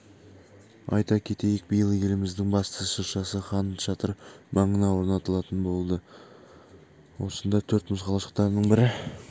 айта кетейік биыл еліміздің басты шыршасы хан шатыр маңына орнатылатын болады осында төрт мұз қалашықтарының бірі